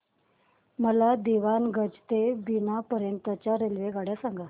मला दीवाणगंज ते बिना पर्यंत च्या रेल्वेगाड्या सांगा